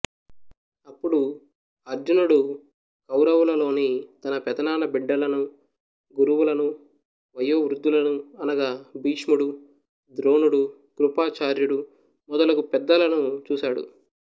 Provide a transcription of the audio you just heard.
అప్పుడు అర్జునుడు కౌరవులలోని తన పెదనాన్న బిడ్డలను గురువులను వయోవృద్ధులను అనగా భీష్ముడు ద్రోణుడు కృపాచార్యుడు మొదలగు పెద్దలను చూశాడు